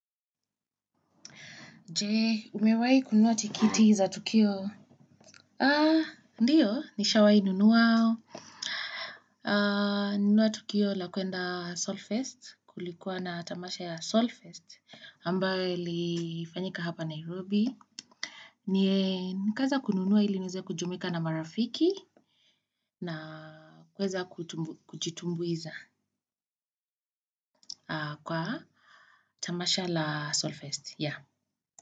Je, umewai kunuwa tikiti za tukio? Ah, ndiyo, nishawai nunua. Ah, nunuwa tukio la kuenda Solfest, kulikuwa na tamasha ya Solfest, ambayo ilifanyika hapa Nairobi. Ni kaweza kununuwa ili niweze kujumika na marafiki na kuweza kujitumbuiza kwa tamasha la Solfest.